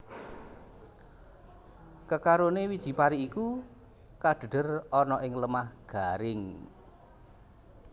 Kekarone wiji pari iku kadhedher ana ing lemah garing